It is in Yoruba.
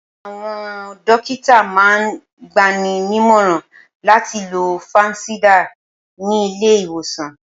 Awọn dókítà máa ń gbani nímọ̀ràn láti lo fansidar ni ilé ìwòsàn